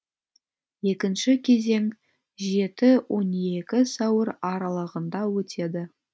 екінші кезең жеті он екі сәуір аралығында өтеді